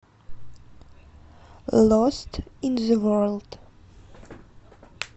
лост ин зэ ворлд